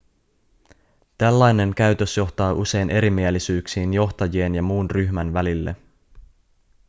tällainen käytös johtaa usein erimielisyyksiin johtajien ja muun ryhmän välille